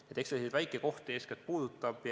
Nii et eks ta eeskätt selliseid väikekohti puudutab.